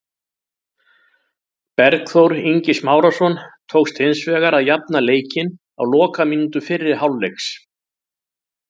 Bergþór Ingi Smárason tókst hins vegar að jafna leikinn á lokamínútu fyrri hálfleiks.